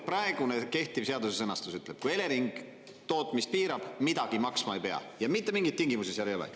Praegune kehtiv seaduse sõnastus ütleb: kui Elering tootmist piirab, midagi maksma ei pea ja mitte mingeid tingimusi seal ei ole.